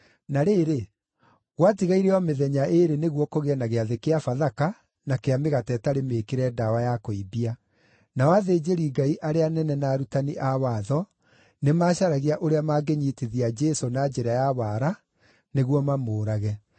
Na rĩrĩ, gwatigaire o mĩthenya ĩĩrĩ nĩguo kũgĩe na Gĩathĩ kĩa Bathaka na kĩa Mĩgate ĩtarĩ Mĩĩkĩre Ndawa ya Kũimbia, nao athĩnjĩri-Ngai arĩa anene na arutani a watho nĩmacaragia ũrĩa mangĩnyiitithia Jesũ na njĩra ya wara nĩguo mamũũrage.